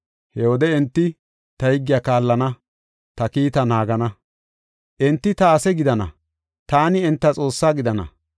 He wode enti ta higgiya kaallana; ta kiita naagana. Enti ta ase gidana; taani enta Xoossaa gidana.